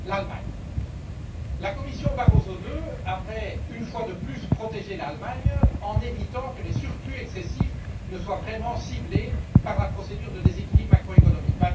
Premièrement l'Allemagne la Commission Barroso II avait une fois de plus protégé l'Allemagne en évitant que les excédents excessifs ne soient vraiment ciblés par la procédure de déséquilibre macroéconomique.